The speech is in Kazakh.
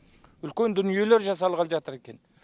үлкен дүниелер жасалғалы жатыр екен